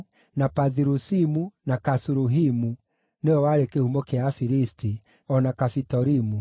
na Pathirusimu, na Kasuluhimu (nĩwe warĩ kĩhumo kĩa Afilisti), o na Kafitorimu.